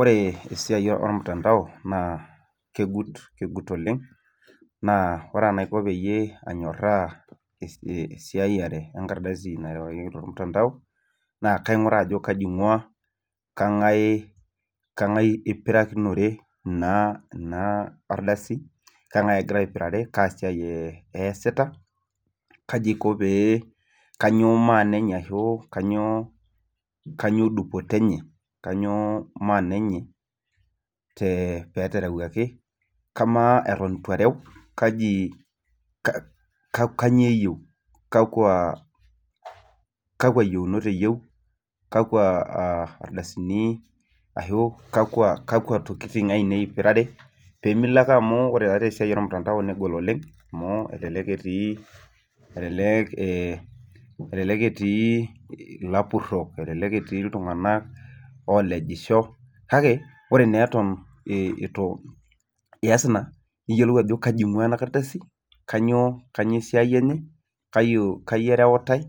ore esiai olmutandao naa kegut oleng naa ore enaiko peyie enyoraa esiai engardasi, narewi tolmutandao naa kangura ajo kaji erewi kengae egira aipirare kasiai esita , kanyioo maana enye kanyioo dupoto enye pee eterewuaki kanyioo eyieu ashu kakua tokitin ainei ipirare, amu ore esiai olmutandao negol oleng amu eleklek etii ilapurok eleklek etii iltunganak olejisho kake ore naa eten etu iyas ina , niyiolou ajo kaji ing'uaa ena ardasi kanyioo esiai enye, kanyioo ereutae